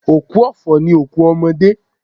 Òkú ọ̀fọ̀ ni òkú ọmọdé.